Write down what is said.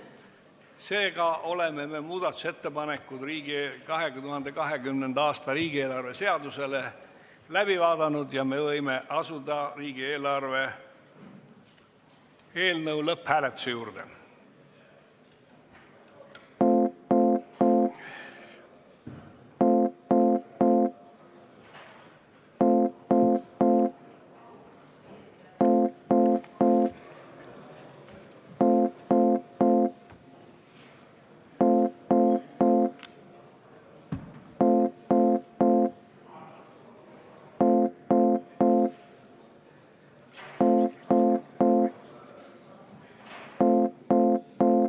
Seega oleme 2020. aasta riigieelarve seaduse muudatusettepanekud läbi vaadanud ja me võime asuda riigieelarve seaduse eelnõu lõpphääletuse juurde.